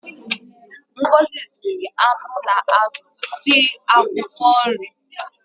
Ngozi jiri anụ na azụ sie ofe akwụkwọ nri.